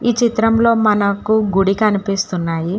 ఈ చిత్రంలో మనకు గుడి కనిపిస్తున్నాయి.